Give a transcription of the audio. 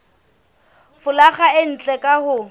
folaga e ntle ka ho